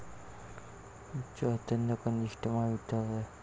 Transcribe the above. चैतन्य कनिष्ठ महाविद्यालय